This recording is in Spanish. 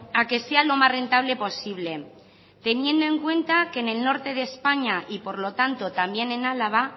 a que sea lo más rentable posible teniendo en cuenta que en el norte de españa y por lo tanto también en álava